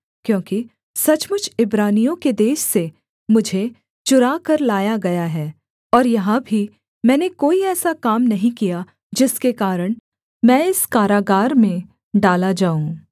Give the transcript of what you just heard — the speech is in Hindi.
क्योंकि सचमुच इब्रानियों के देश से मुझे चुराकर लाया गया हैं और यहाँ भी मैंने कोई ऐसा काम नहीं किया जिसके कारण मैं इस कारागार में डाला जाऊँ